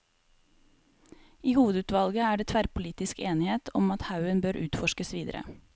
I hovedutvalget er det tverrpolitisk enighet om at haugen bør utforskes videre.